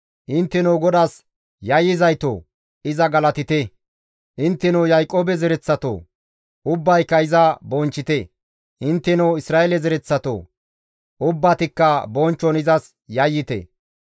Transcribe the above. Intteno GODAAS yayyizaytoo, iza galatite! intteno Yaaqoobe zereththatoo! Ubbayka iza bonchchite! intteno Isra7eele zereththatoo! Ubbatikka bonchchon izas yayyite!